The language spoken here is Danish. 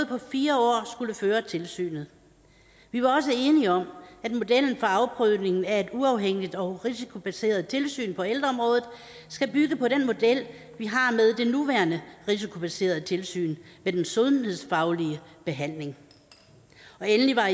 på fire år skulle føre tilsynet vi var også enige om at modellen for afprøvningen af et uafhængigt og risikobaseret tilsyn på ældreområdet skal bygge på den model vi har med det nuværende risikobaserede tilsyn med den sundhedsfaglige behandling og endelig var